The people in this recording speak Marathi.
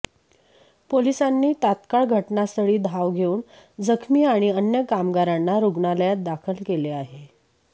पोलिसांनी तात्काळ घटनास्थळी धाव घेऊन जखमी आणि अन्य कामगारांना रुग्णालयात दाखल केले आहे